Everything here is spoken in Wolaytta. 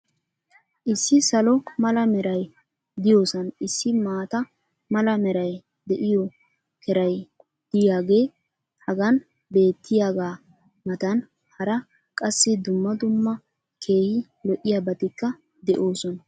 issi salo mala meray diyoosan issi maata mala meray de'iyo keray diyaagee hagan beetiyaagaa matan hara qassi dumma dumma keehi lo'iyaabatikka de'oosona.